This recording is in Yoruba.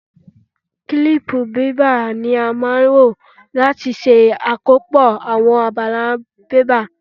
Kílípù bébà ni a máa ń lò láti ṣe àkópọ̀ àwọn abala bébà.